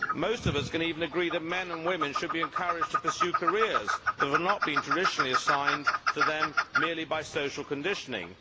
Most of us can even agree that men and women should be encouraged to pursue careers that have not been traditionally assigned to them merely by social conditioning.